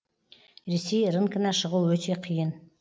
ресей рынкына шығу өте қиын